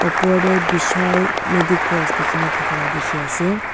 opor de bishal medicos liki na dakala diki ase.